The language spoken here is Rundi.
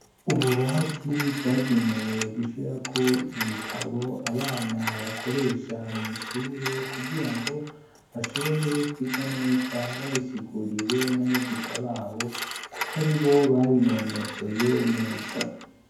Ububati bwagenewe gushirako ibitabo abana bakoresha mw' ishure kugirango bashobore kwiga neza babisiguriwe n'abigisha babo, kuko ari bo babinonosoye neza.